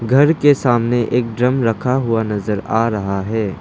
घर के सामने एक ड्रम रखा हुआ नजर आ रहा है।